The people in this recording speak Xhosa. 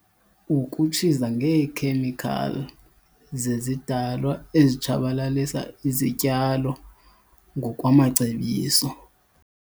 Ukutshiza ngeekhemikhali zezidalwa ezitshabalalisa izityalo ngokwamacebiso.